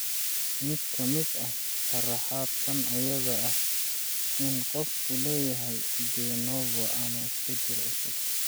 Mid ka mid ah sharraxaad tan ayaa ah in qofku leeyahay de novo ama isbeddel cusub.